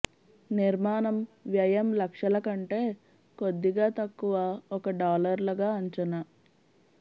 నిర్మాణం వ్యయం లక్షల కంటే కొద్దిగా తక్కువ ఒక డాలర్లగా అంచనా